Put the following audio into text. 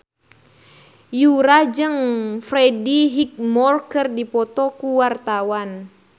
Yura jeung Freddie Highmore keur dipoto ku wartawan